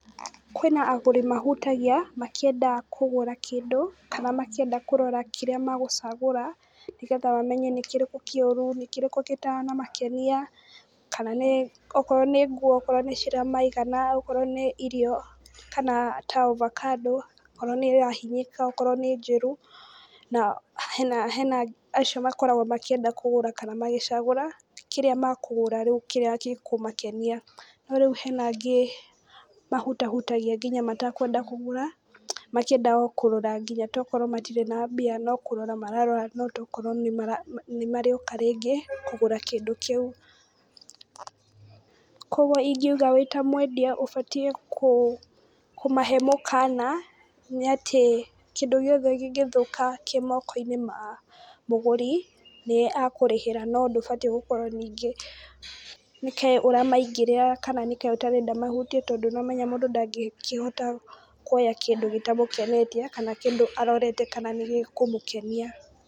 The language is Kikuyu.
Kwĩna agũri mahutagia makĩenda kũgũra kĩndũ, kana makĩenda kũrora kĩrĩa megũcagũra, nĩgetha mamenye nĩkĩrĩkũ kĩũru, nĩkĩrĩkũ gĩtanamakenia kana nĩ okorwo nĩ nguo okorwo nĩciramaigana okorwo nĩ irio, kana ta ovacado okorwo nĩĩrahinyĩka, okorwo nĩ njĩru, na hena acio makoragwo makĩenda kũgũra kana magĩcagura kĩrĩa makũgũra rĩu kĩrĩa gĩkũmakenia. No rĩu hena angĩ mahutahutagia nginya matekwenda kũgũra, makĩenda o kũrora ngĩnya tokorwo matirĩ na mbia tokorwo nĩmarĩũka rĩngĩ kũgũra kĩndũ kĩu. koguo ingiuga wĩ ta mwendia ũbatiĩ kũmahe mũkana nĩatĩ kĩndũ o gĩothe kĩngĩthũka kĩ moko-inĩ ma mũgũri, nĩ akũrihĩra no ndũbatiĩ gũkorwo ningĩ nĩke ũramaingĩrĩra kana nĩkaĩ ũtarenda mahutie tondũ nĩ ũramenya mũndũ ndangĩkĩhota kũrĩa kĩndũ gĩtamũkenetie kana kĩndũ arorete kana nĩgĩkũmũkenia.